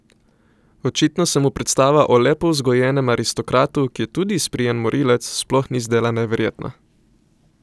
Očitno se mu predstava o lepo vzgojenem aristokratu, ki je tudi izprijen morilec, sploh ni zdela neverjetna.